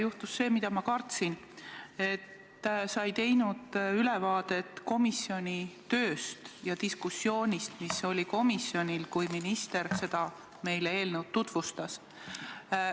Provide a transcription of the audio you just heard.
Juhtus see, mida ma kartsin: sa ei teinud ülevaadet komisjoni tööst ja diskussioonist, mis oli komisjonis, kui minister meile seda eelnõu tutvustas.